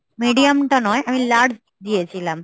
medium টা নয় আমি large